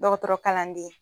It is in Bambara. Dɔgɔtɔrɔ kalan den